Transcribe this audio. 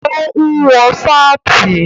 Ó ń wọ sáàtì